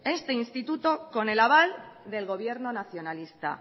este instituto con el aval del gobierno nacionalista